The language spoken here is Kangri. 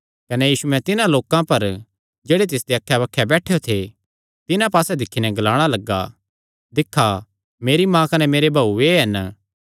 कने यीशुयैं तिन्हां लोकां पर जेह्ड़े तिसदे अक्खैबक्खे बैठेयो थे तिन्हां पास्से दिक्खी नैं ग्लाणा लग्गा दिक्खा मेरी माँ कने मेरे भाऊ एह़ हन